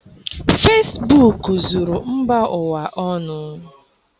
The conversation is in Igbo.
Fesibuuku zuru mba ụwa ọnụ.